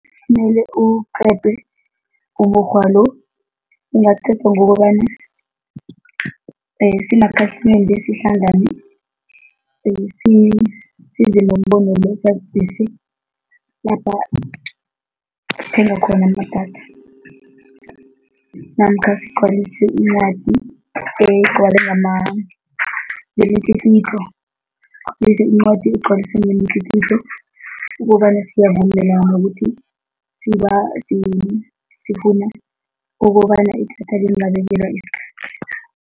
Kumele uqedwe umukghwa lo, ungaqedwa ngokobana simakhasimende sihlangane, size nombono lapha sithenga khona namkha namkha sigcwalise incwadi, egcwale ngemitlikitlo, bese incwadi egcwaliswe ngemitlikitlo ukobana siyavumelana ukuthi , sifuna ukobana idatha lingabekwela isikhathi.